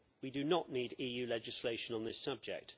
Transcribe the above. We do not need EU legislation on this subject.